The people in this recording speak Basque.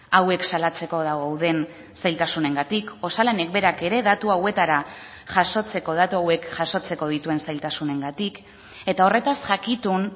hauek salatzeko dauden zailtasunengatik osalanek berak ere datu hauetara jasotzeko datu hauek jasotzeko dituen zailtasunengatik eta horretaz jakitun